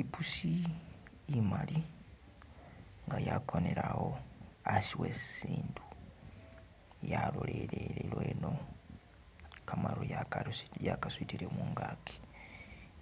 I'pusi imali nga yakonele awo asi wesisindu, yalolelele lweno kamaru yakarusi yakasutile mungaki,